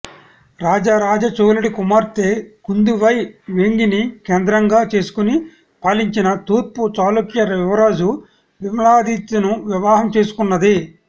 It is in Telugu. రాజరాజచోళుడి కుమార్తె కుందవై వేంగిని కేంద్రంగా చేసుకుని పాలించిన తూర్పు చాళుక్య యువరాజు విమలాదిత్యను వివాహం చేసుకున్నది